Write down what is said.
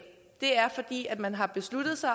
det er fordi man har besluttet sig